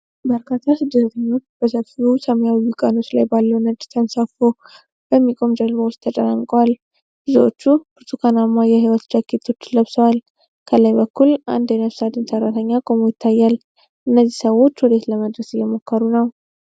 በርካታ ስደተኞች በሰፊው ሰማያዊ ውቅያኖስ ላይ ባለው ነጭ ተነፍቶ በሚቆም ጀልባ ውስጥ ተጨናንቀዋል። ብዙዎቹ ብርቱካንማ የህይወት ጃኬቶችን ለብሰዋል። ከላይ በኩል አንድ የነፍስ አድን ሰራተኛ ቆሞ ይታያል። እነዚህ ሰዎች ወዴት ለመድረስ እየሞከሩ ነው?